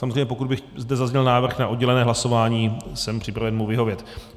Samozřejmě pokud by zde zazněl návrh na oddělené hlasování, jsem připraven mu vyhovět.